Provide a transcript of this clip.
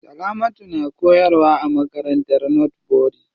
Salamatu na koyarwa a makarantar northbury.